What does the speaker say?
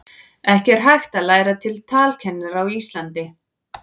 ekki er hægt að læra til talkennara á íslandi